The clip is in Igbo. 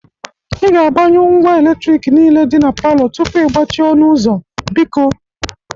Ị ga-agbanyụ ngwa eletriki niile dị na palọ tupu ị gbachie ọnụ ụzọ, biko.